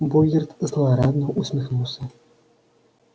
богерт злорадно усмехнулся